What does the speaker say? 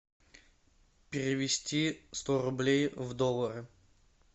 перевести сто рублей в доллары